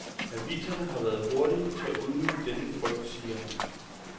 Aviserne har været hurtige til at udnytte denne frygt, siger han.